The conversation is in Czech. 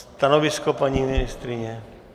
Stanovisko, paní ministryně?